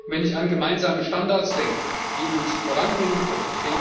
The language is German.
Wenn ich an gemeinsame Standards denke, die uns voranbringen können.